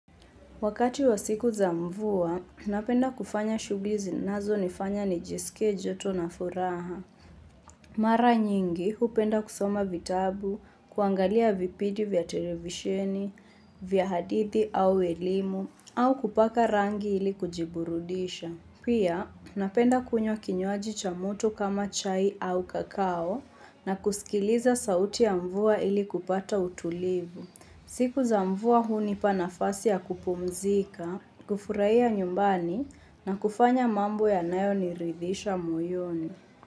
Wakati wa siku za mvua, napenda kufanya shughuli zinazo nifanya nijisikie joto na furaha. Mara nyingi, hupenda kusoma vitabu, kuangalia vipidi vya televisheni, vya hadithi au elimu, au kupaka rangi ili kujiburudisha. Pia, napenda kunywa kinywaji cha mtu kama chai au kakao na kusikiliza sauti ya mvua ili kupata utulivu. Siku za mvua hunipa nafasi ya kupumzika. Kufurahia nyumbani na kufanya mambo ya nayo niridhisha moyoni.